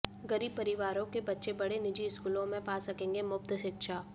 गरीब परिवारों के बच्चे बड़े निजी स्कूलों में पा सकेंगे मुफ्त शिक्षा